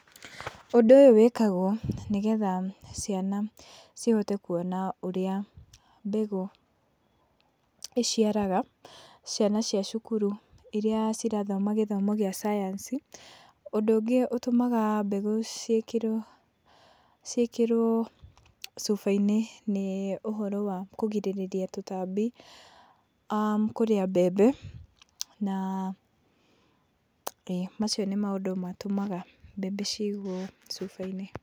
Ũndũ ũyũ wĩkagwo nĩgetha ciana cihote kuona ũrĩa mbegũ iciaraga, ciana cia thukuru iria irathoma gĩthomo kĩa science, ũndũ ũngĩ ũtũmaga mbegũ ciĩkĩrwo ciĩkĩrwo cuba-inĩ, nĩ ũhoro wa kũrigĩrĩria tũtambi aah kũrĩa mbembe, ĩĩ na macio nĩ maũndũ matũmaga mbembe cigwo cuba-inĩ.